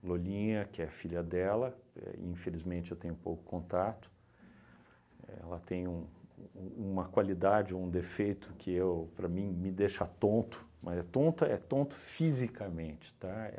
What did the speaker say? A Lolinha, que é a filha dela, éh infelizmente eu tenho pouco contato, ela tem um um uma qualidade ou um defeito que eu, para mim, me deixa tonto, mas é tonto, é tonto fisicamente, tá?